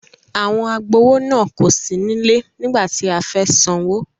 Àwọn agbowó náà kò sí nílẹ nígbà tí a fẹ́ sanwó.